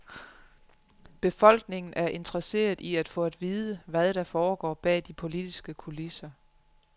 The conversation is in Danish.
Befolkningen er interesseret i at få at vide, hvad der foregår bag de politiske kulisser.